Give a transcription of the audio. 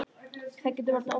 Það getur valdið ofnæmi.